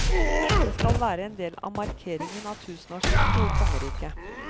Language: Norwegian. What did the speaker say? Det skal være en del av markeringen av tusenårsskiftet i kongeriket.